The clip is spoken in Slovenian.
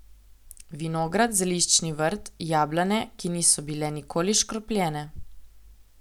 Vinograd, zeliščni vrt, jablane, ki niso bile nikoli škropljene ...